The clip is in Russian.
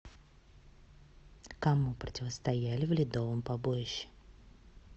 кому противостояли в ледовом побоище